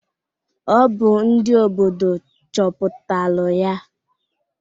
Ọ bụ ndị obodo chọpụtalụ ya.